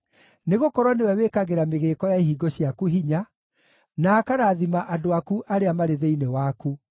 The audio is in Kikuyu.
nĩgũkorwo nĩwe wĩkagĩra mĩgĩĩko ya ihingo ciaku hinya, na akarathima andũ aku arĩa marĩ thĩinĩ waku.